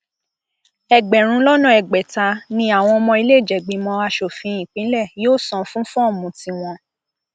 ẹgbẹrún lọnà ẹgbẹta ni àwọn ọmọ ìlẹẹjẹgbìmọ asòfin ìpínlẹ yóò san fún fọọmù tiwọn